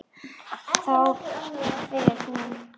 Þá fer hún á rauðu.